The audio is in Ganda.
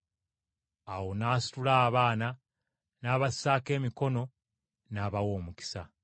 Awo n’asitula abaana n’abassaako emikono gye, n’abawa omukisa.